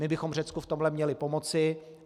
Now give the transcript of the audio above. My bychom Řecku v tomhle měli pomoci.